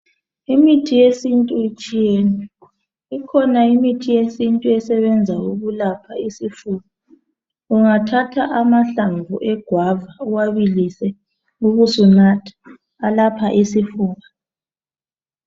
Imithi yesiNtu itshiyene ikhona imithi yesiNtu esebenza ukulapha isifuba ungathatha amahlamvu egwava uwabilise ubusunatha alapha isifuba.